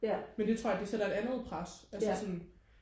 men det tror jeg det sætter et andet pres altså sådan